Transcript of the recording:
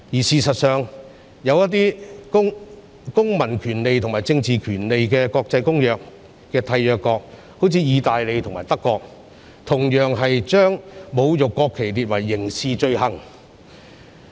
事實上，《公民權利和政治權利國際公約》的締約國，例如意大利及德國，同樣把侮辱國旗列為刑事罪行。